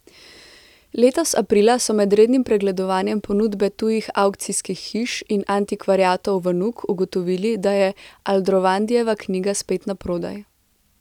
Letos aprila so med rednim pregledovanjem ponudbe tujih avkcijskih hiš in antikvariatov v Nuk ugotovili, da je Aldrovandijeva knjiga spet naprodaj.